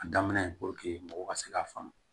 A daminɛ mɔgɔw ka se k'a faamu